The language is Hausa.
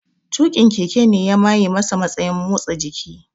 Tuƙin keke ne ya maye masa matsayin motsa jiki